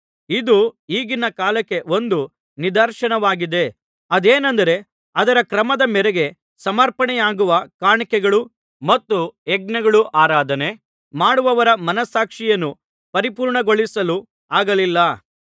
ಇದು ಈಗಿನ ಕಾಲಕ್ಕೆ ಒಂದು ನಿದರ್ಶನವಾಗಿದೆ ಅದೇನೆಂದರೆ ಅದರ ಕ್ರಮದ ಮೇರೆಗೆ ಸಮರ್ಪಣೆಯಾಗುವ ಕಾಣಿಕೆಗಳೂ ಮತ್ತು ಯಜ್ಞಗಳೂ ಆರಾಧನೆ ಮಾಡುವವರ ಮನಸ್ಸಾಕ್ಷಿಯನ್ನು ಪರಿಪೂರ್ಣಗೊಳಿಸಲು ಆಗಲಿಲ್ಲ